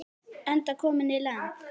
Enda kominn í land.